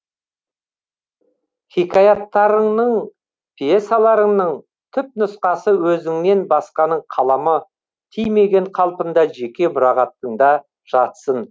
хикаяттарыңның пьесаларыңның түпнұсқасы өзіңнен басқаның қаламы тимеген қалпында жеке мұрағатыңда жатсын